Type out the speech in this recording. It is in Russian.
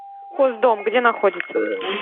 хоздом где находится